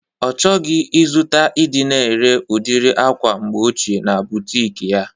Ọ chọghọzi izuta ịdị na-ere udiri akwa mgbe ochie na butik ya